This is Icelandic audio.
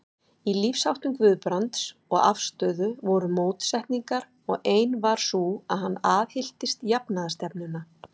Í lífsháttum Guðbrands og afstöðu voru mótsetningar, og ein var sú, að hann aðhylltist jafnaðarstefnuna.